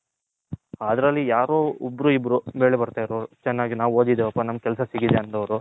ಅದರಲ್ಲಿ ಯಾರೊ ಒಬ್ರು ಇಬ್ರು ಮೇಲೆ ಬರ್ತೈರೋರು ಚೆನ್ನಾಗಿ ನಾವು ಓದಿದಿವಿ ಅಪ್ಪ ಕೆಲಸ ಸಿಕ್ಕಿದೆ ಅನ್ನೋರು.